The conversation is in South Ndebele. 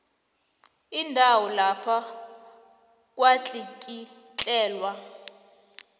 indawo lapho kwatlikitlelwa